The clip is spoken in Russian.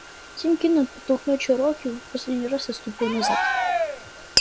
тим кинен подтолкнул чероки в последний раз и отступил назад